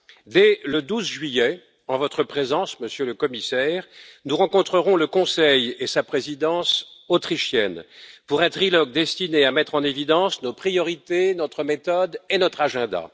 Dès le 12 juillet, en votre présence, Monsieur le Commissaire, nous rencontrerons le Conseil et sa présidence autrichienne pour un trilogue destiné à mettre en évidence nos priorités, notre méthode et notre agenda.